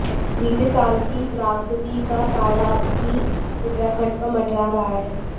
बीते साल की त्रासदी का साया अब भी उत्तराखंड पर मंडरा रहा है